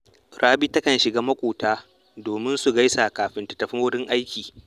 Rabi takan shiga maƙotanta domin su gaisa kafin ta tafi wurin aiki